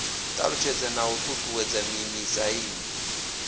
ṱalutshedzwa na u ṱuṱuwedzwa mimiziamu